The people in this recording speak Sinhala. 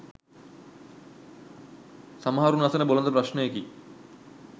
සමහරුන් අසන බොළඳ ප්‍රශ්නයකි.